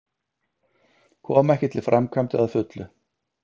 Koma ekki til framkvæmda að fullu